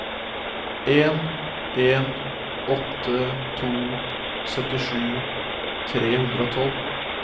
en en åtte to syttisju tre hundre og tolv